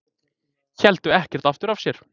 Héldu ekkert aftur af sér